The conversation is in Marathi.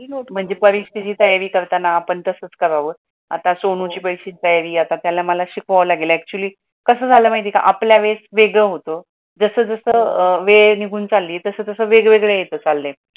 महणजे परीक्षेची तयारी करताना आपण तसंच करावं आता सोनूची परीक्षेची तयारी आता त्याला मला शिकवाय लागेला, actually कस जल माहिती का आपल्या वेळेस वेगळे होतो जसं जसं वेळ निघून चालली तस तसा वेगवेगळे येथ चाले